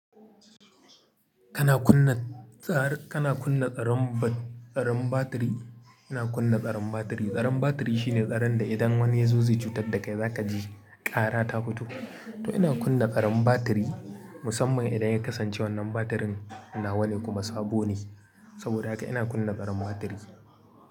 Kana kunna tsar-- kana kunna tsaron bat-- tsaron batiri. Ina kunna tsaron batiri. Tsaron batiri shine tsaron da idan wani ya zo zai cutar da kai, za ka ji ƙara ta fito. To ina kunna tsaron batiri musamman idan ya kasance wannan batirin na wane kuma sabo ne. Saboda haka ina kunna tsaron batiri.